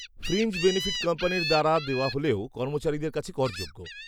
Fringe benefit কোম্পানির দ্বারা দেওয়া হলেও, কর্মচারীদের কাছে করযোগ্য।